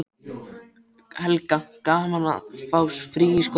Helga: Gaman að fá frí í skólanum?